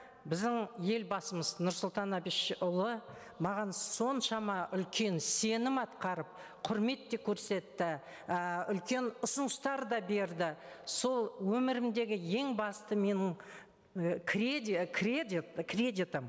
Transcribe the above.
біздің елбасымыз нұрсұлтан әбішұлы маған соншама үлкен сенім атқарып құрмет те көрсетті ііі үлкен ұсыныстар да берді сол өмірімдегі ең басты менің і кредитім